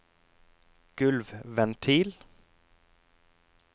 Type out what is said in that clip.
gulvventil